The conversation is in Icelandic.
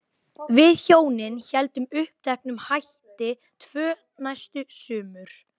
Við hjónin héldum uppteknum hætti tvö næstu sumur.